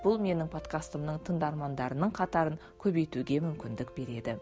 бұл менің подкастымның тыңдармандарының қатарын көбейтуге мүмкіндік береді